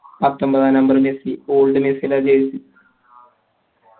പത്തൊമ്പതാം number Messi old മെസ്സിടെ jersey